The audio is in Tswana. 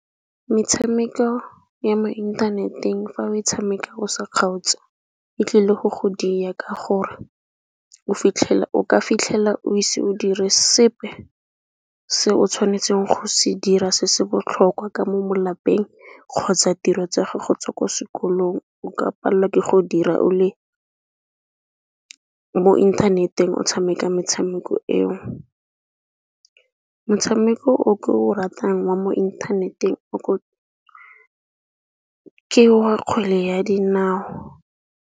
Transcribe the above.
Metshameko ya mo inthaneteng fa o tshameka o sa kgaotse e tlile go diya, ka gore o ka fitlhela o ise o dire sepe se o tshwanetseng go se dira se se botlhokwa ka mo malapeng kgotsa tiro tsa gago tsa ko sekolong. O ka pallwa ke go dira o le mo inthaneteng o tshameka metshameko eo. Motshameko o ke o ratang wa mo inthaneteng ke wa kgwele ya dinao.